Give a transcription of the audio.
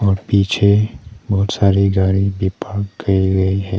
और पीछे बहुत सारी गाड़ी भी पार्क कई गई है।